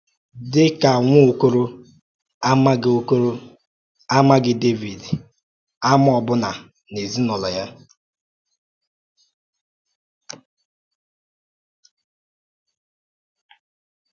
Dị ka nwa okorọ, a maghị okorọ, a maghị Dẹ́vid àmà ọbụna n’ezinụlọ ya.